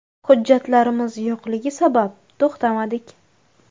Hujjatlarimiz yo‘qligi sabab to‘xtamadik.